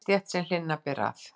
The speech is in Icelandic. yfirstétt, sem hlynna beri að.